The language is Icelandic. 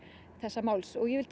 þessa máls og ég vil